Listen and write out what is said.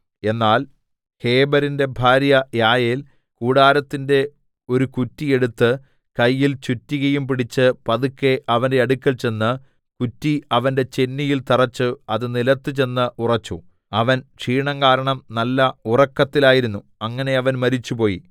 എന്നാൽ ഹേബെരിന്റെ ഭാര്യ യായേൽ കൂടാരത്തിന്റെ ഒരു കുറ്റി എടുത്ത് കയ്യിൽ ചുറ്റികയും പിടിച്ച് പതുക്കെ അവന്റെ അടുക്കൽ ചെന്ന് കുറ്റി അവന്റെ ചെന്നിയിൽ തറെച്ചു അത് നിലത്തുചെന്ന് ഉറച്ചു അവൻ ക്ഷീണം കാരണം നല്ല ഉറക്കത്തിലായിരുന്നു അങ്ങനെ അവൻ മരിച്ചുപോയി